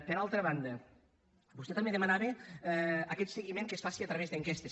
per altra banda vostè també demanava aquest seguiment que es faci a través d’enquestes